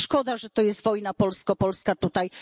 Szkoda, że to jest wojna polsko polska tutaj.